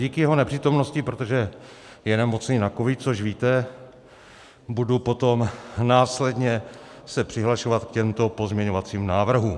Díky jeho nepřítomnosti, protože je nemocný na covid, což víte, budu potom následně se přihlašovat k těmto pozměňovacím návrhům.